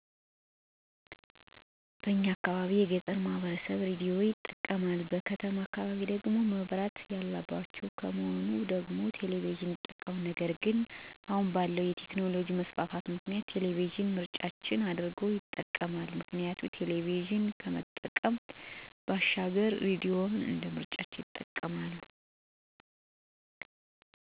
በእኛ አካባቢ የገጠሩ ማህበረሰብ ራዲዮን ይጠቀማል; በከተማ አካባቢ ወይም መብራት ያለባቸዉ ከሆኑ ደግሞ ቴሌቪዥንን ይጠቀማሉ ነገር ግን አሁን ባለዉ የቴክኖሎጅ መስፋፋት ምክንያት ቴሌቪዥን ምርጫቸዉ አድርገዉ ይጠቀማሉ። ምክንያቱም ቴሌቪዥን መጠቀም መልክቶችን በድምፅም ሆነ በምስል ማየት ስልጣኔዓችን ነዉ።